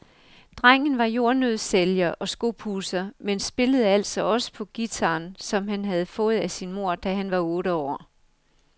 Drengen var jordnøddesælger og skopudser, men spillede altså også på guitaren, som han havde fået af sin mor, da han var otte år.